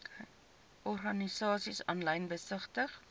organisasies aanlyn besigtig